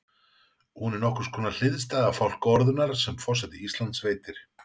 Hún er nokkurs konar hliðstæða fálkaorðunnar sem forseti Íslands veitir.